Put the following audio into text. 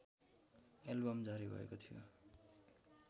album जारी भएको थियो